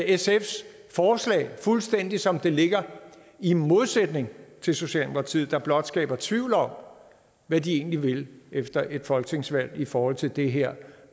sfs forslag fuldstændig som det ligger i modsætning til socialdemokratiet der blot skaber tvivl om hvad de egentlig vil efter et folketingsvalg i forhold til det her